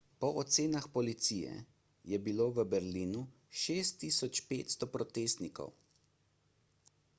po ocenah policije je bilo v berlinu 6500 protestnikov